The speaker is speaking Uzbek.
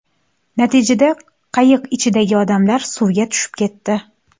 Natijada, qayiq ichidagi odamlar suvga tushib ketdi.